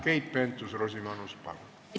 Keit Pentus-Rosimannus, palun!